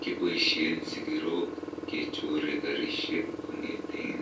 Kiboishen sikirook kechoree kaarishek kong'eteen